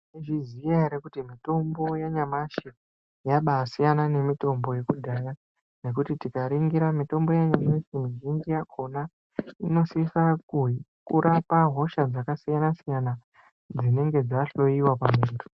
Maizviziva here kuti mitombo yanyamashi yabaisiyana nemitombo yekudhaya nekuti tikaningira mitombo yanyamashi iyi mizhinji yakona inosisa kurapa hosha dzakasiyana siyana dzinenge dzahloyiwa pamundu.